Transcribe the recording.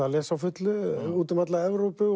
að lesa á fullu út um alla Evrópu